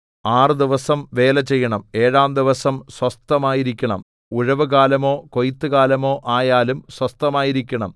ആറ് ദിവസം വേല ചെയ്യണം ഏഴാം ദിവസം സ്വസ്ഥമായിരിക്കണം ഉഴവുകാലമോ കൊയ്ത്തുകാലമോ ആയാലും സ്വസ്ഥമായിരിക്കണം